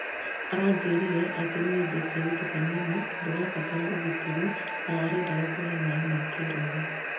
aranjĩrire atĩ nĩe ndĩ kaĩrĩtu kanini ndirabatara ũgitĩri na arendaga kuhe maĩ ma kĩroho"